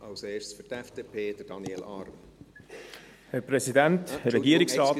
Zuerst spricht Daniel Arn für die FDP.